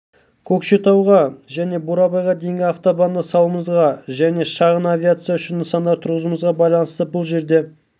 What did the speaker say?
көкшетауға және бурабайға дейінгі автобанды салуымызға және шағын авиация үшін нысандар тұрғызуымызға байланысты бұл жерде